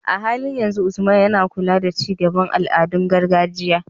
A halin yanzu, Usman yana kula da ci gaban al'adun gargajiya.